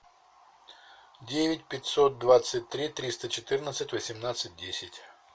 девять пятьсот двадцать три триста четырнадцать восемнадцать десять